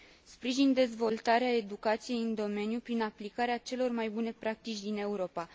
Sprijin dezvoltarea educației în domeniu prin aplicarea celor mai bune practici din Europa.